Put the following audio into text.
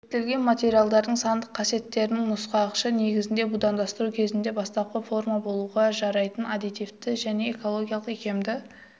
зерттелген материалдардың сандық касиеттерінің нұсқағышы негізінде будандастыру кезінде бастапқы форма болуға жарайтын адаптивті және экологиялық икемді